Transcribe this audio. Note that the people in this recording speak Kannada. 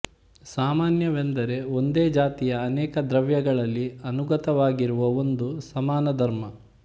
ಸಾಮಾನ್ಯವೆಂದರೆ ಒಂದೇ ಜಾತಿಯ ಅನೇಕ ದ್ರವ್ಯಗಳಲ್ಲಿ ಅನುಗತವಾಗಿರುವ ಒಂದು ಸಮಾನಧರ್ಮ